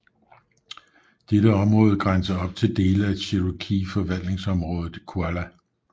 Dette område grænser op til dele af cherokee forvaltningsområdet Qualla